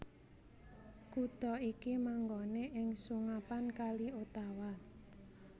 Kutha iki manggoné ing sungapan Kali Ottawa